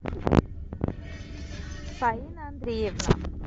фаина андреевна